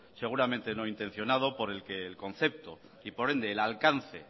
seguramente no intencionado por el que el concepto y por ende el alcance